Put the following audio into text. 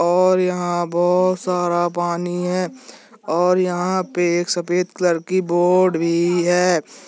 और यहाँ बहुत सारा पानी है और यहाँ बहुत सारा पानी है और यहाँ एक सफ़ेद कलर की बोट भी है। और यहाँ एक सफ़ेद कलर की बोट भी है।